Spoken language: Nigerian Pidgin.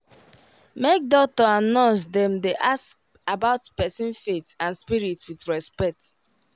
make doctor and nurse dem dey ask about person faith and spirit with respect